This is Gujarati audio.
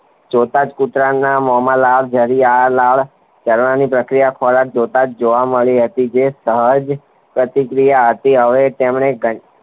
જોતાજ કુતરાના મોમાં લાળ જળી આવે લાળ ઝરવાની પ્રક્રિયા ખોરાક જોતાજ જોવા મળી હતી જે સહજ પ્રતિ ક્રિયા હતી હવે તેમણે